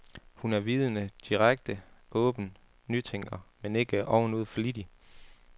Hun er vidende, direkte, åben, nytænker, men ikke ovenud flittig.